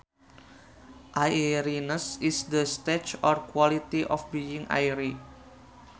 Airiness is the state or quality of being airy